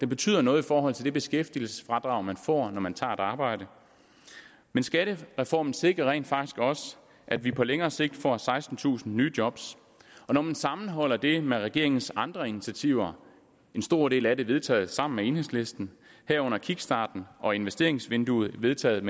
betyder noget i forhold til det beskæftigelsesfradrag man får når man tager et arbejde skattereformen sikrer rent faktisk også at vi på længere sigt får sekstentusind nye job og når man sammenholder det med regeringens andre initiativer en stor del af det vedtaget sammen med enhedslisten herunder kickstarten og investeringsvinduet vedtaget